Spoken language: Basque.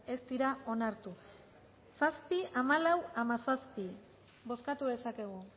ez dira onartu zazpi hamalau hamazazpi bozkatu dezakegu